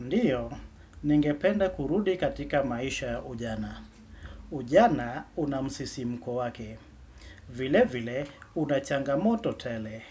Ndiyo, ningependa kurudi katika maisha ya ujana. Ujana unamsisimko kwa wake. Vile vile, unachangamoto tele.